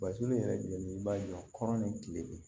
Basini yɛrɛ jumɛn i b'a jɔ kɔrɔ ni kile